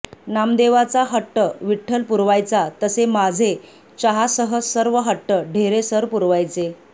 नामदेवाचा हट्ट विठ्ठल पुरवायचा तसे माझे चहासह सर्व हट्ट ढेरे सर पुरवायचे